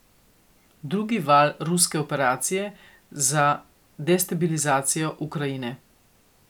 Drugi val ruske operacije za destabilizacijo Ukrajine.